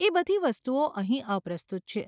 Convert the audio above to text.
એ બધી વસ્તુઓ અહીં અપ્રસ્તુત છે.